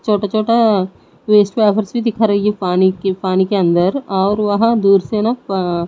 छोटे छोटे दिखा रही है पानी के पानी के अंदर और वहां दूर से ना अं--